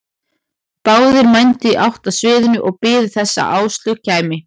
Báðir mændu í átt að sviðinu og biðu þess að Áslaug kæmi.